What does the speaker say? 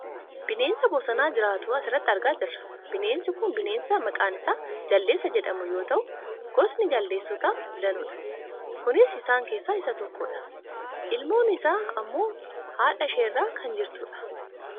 Bineensa bosona jiraatu asirratti argaa jirra. Bineensi kun bineensa maqaan isaa jaldeessa jedhamu yoo ta'u gosoonni jaldeessotaa danuudha . Kunis isaan keessa isa tokkodha. Ilmoon isaa ammoo haadhasheerra kan jirtudha.